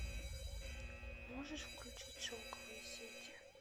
можешь включить шелковые сети